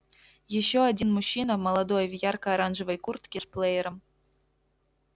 ещё один мужчина молодой в яркой оранжевой куртке с плеером